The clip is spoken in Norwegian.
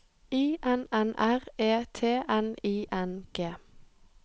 I N N R E T N I N G